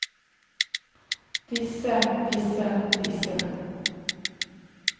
disse disse disse